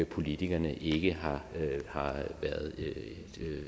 politikerne ikke har været